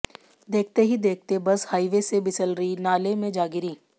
देखते ही देखते बस हाईवे से बिसलरी नाले में जा गिरी